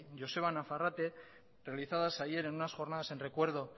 joseba nafarrate realizadas ayer en unas jornadas en recuerdo